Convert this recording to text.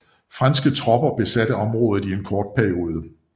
Franske tropper besatte området i en kort periode